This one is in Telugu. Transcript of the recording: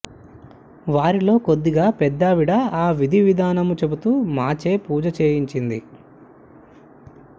వారిలో కొద్దిగా పెద్దావిడ ఆ విధివిధానము చెబుతూ మాచే పూజ చెయ్యించింది